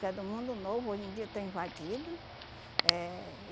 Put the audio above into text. que é do mundo novo, hoje em dia está invadido. Eh